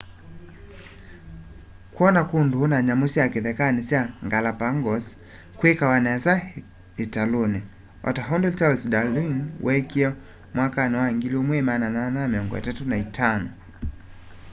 kwona kundu na nyamu sya kithekani sya galapagos kwikawa nesa italuni o ta undu charles darwin wekie mwakani wa 1835